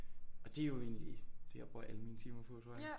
Og det er jo egentlig det jeg bruger alle mine timer på tror jeg